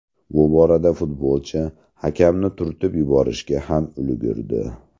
Bu borada futbolchi hakamni turtib yuborishga ham ulgurdi.